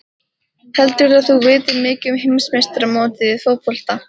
Heldurðu að þú vitir mikið um heimsmeistaramótið í fótbolta?